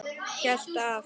Heilt ár.